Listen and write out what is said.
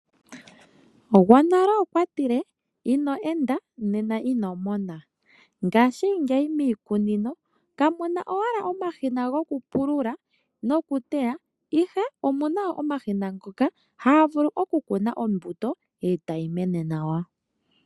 Gwonale okwa tile ino enda ino mona. Ngaashingeyi miikunino kamu na owala omashina gokupulula nokuteya, ihe omu na omashina ngoka haga vulu okukuna ombuto e tayi mene nawa.